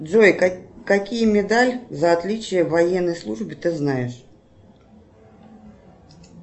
джой какие медали за отличие в военной службе ты знаешь